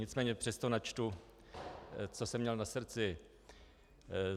Nicméně přesto načtu, co jsem měl na srdci.